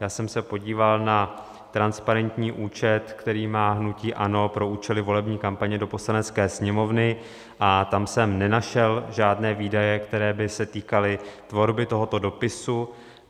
Já jsem se podíval na transparentní účet, který má hnutí ANO pro účely volební kampaně do Poslanecké sněmovny, a tam jsem nenašel žádné výdaje, které by se týkaly tvorby tohoto dopisu.